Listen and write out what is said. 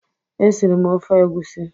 E siri m ofe egwusi.